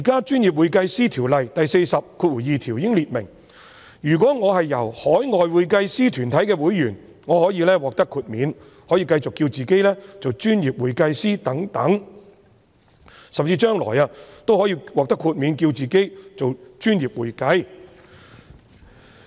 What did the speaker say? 當然，《條例》第422條訂明，如果我是海外會計師團體會員，可獲得豁免，可繼續自稱為"專業會計師"等，甚至將來也可以獲得豁免，自稱為"專業會計"。